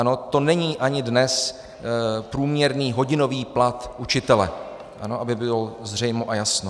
Ano, to není ani dnes průměrný hodinový plat učitele, aby bylo zřejmo a jasno.